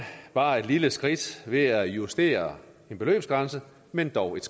bare et lille skridt ved at justere en beløbsgrænse men dog et